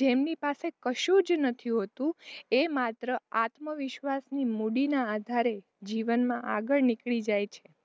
જેમની પાસે કશું જ નથી હોતું એ માત્ર આત્મવિશ્વાસની મૂળીના આધારે જીવનમાં આગળ નીકળી જાય.